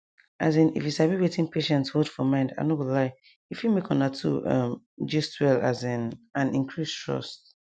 asin if you sabi wetin patients hold for mind i no go lie e fit make una two um gist well asin and increase trust